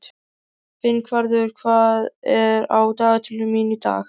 Finnvarður, hvað er á dagatalinu mínu í dag?